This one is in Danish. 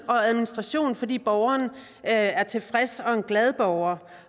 administration fordi borgeren er en tilfreds og glad borger